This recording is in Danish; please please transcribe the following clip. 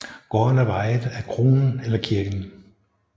Gårdene var ejet af kronen eller kirken